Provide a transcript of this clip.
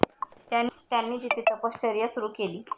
त्यांनी तिथे तपश्चर्या सुरु केली.